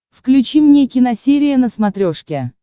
включи мне киносерия на смотрешке